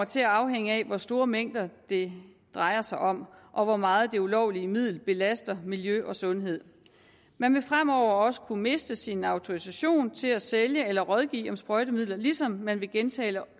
til at afhænge af hvor store mængder det drejer sig om og hvor meget det ulovlige middel belaster miljø og sundhed man vil fremover også kunne miste sin autorisation til at sælge eller rådgive om sprøjtemidler ligesom man ved gentagne